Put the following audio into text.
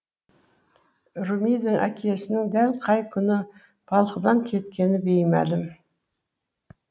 румидің әкесінің дәл қай күні балқыдан кеткені беймәлім